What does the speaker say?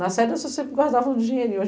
Na férias, você sempre guardava dinheirinho.